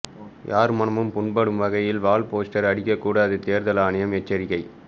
யார் மனமும் புண்படும் வகையில் வால்போஸ்டர் அடிக்க கூடாது தேர்தல் ஆணையம் எச்சரிக்கை